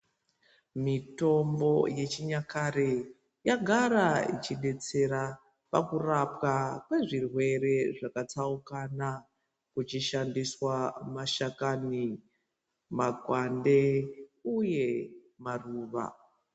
Mitombo yechinyakare yagara ichidetsera pakurapwa kwezvirwere zvakatsaukana kuchishandiswa mashakani makwande uye maruva.